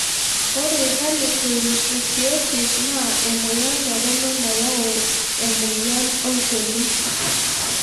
Ore harlequin ichthyosis naa emoyian torono nayau emoyian olchoni.